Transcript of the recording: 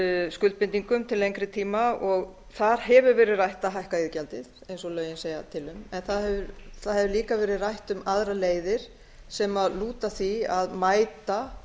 skuldbindingum til lengri tíma þar hefur verið rætt að hækka iðgjaldið eins og lögin segja til um en það hefur líka verið rætt um aðrar leiðir sem lúta því að mæta